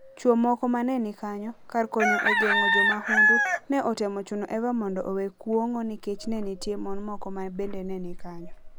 Chwo moko ma ne ni kanyo, kar konyo e geng'o jo mahundu, ne otemo chuno Eva mondo owe kuong'o nikech ne nitie mon moko ma bende ne ni kanyo.